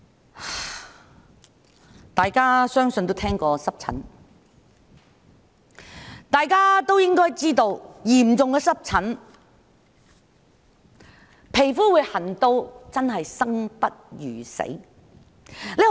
相信大家都聽過濕疹，應該知道嚴重的濕疹會令皮膚痕癢至令人生不如死。